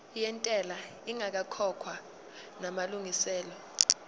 yentela ingakakhokhwa namalungiselo